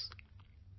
My dear countrymen,